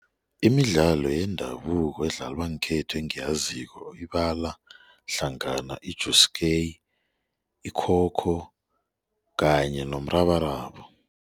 Imidlalo yendabuko edlalwa ngekhethu engiyaziko ibala hlangana ikhokho kanye nomrabaraba.